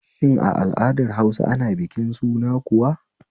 Shin a al'adar Hausa a bikin suna kuwa